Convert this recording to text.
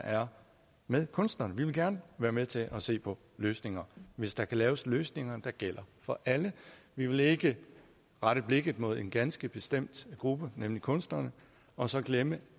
er med kunstnerne vi vil gerne være med til at se på løsninger hvis der kan laves løsninger der gælder for alle vi vil ikke rette blikket mod en ganske bestemt gruppe nemlig kunsterne og så glemme